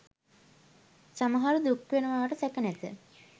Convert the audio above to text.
සමහරු දුක් වෙනවාට සැක නැත.